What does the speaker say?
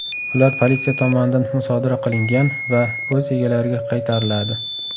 Ular politsiya tomonidan musodara qilingan va o‘z egalariga qaytariladi.